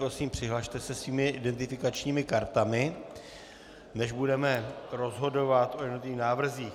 Prosím, přihlaste se svými identifikačními kartami, než budeme rozhodovat o jednotlivých návrzích.